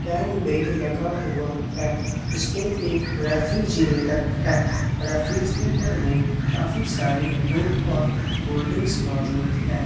Can दे लगा हुआ है इसमें एक रेफ्रिजीरेटर है रेफ्रिजीरेटर में काफी सारी कुक और कोल्ड ड्रिंक मौजूद है।